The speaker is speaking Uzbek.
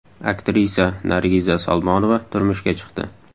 Aktrisa Nargiza Salmonova turmushga chiqdi.